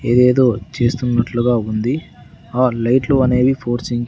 ఏదేదో చేస్తునట్లుగా ఉంది ఆ లైట్లు అనేవి ఫోర్సింగ్ --